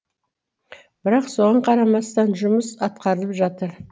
бірақ соған қарамастан жұмыс атқарылып жатыр